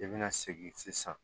I bɛna segin sisan